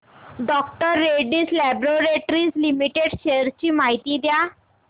डॉ Reddy's Laboratories Limited shares ची माहिती द्या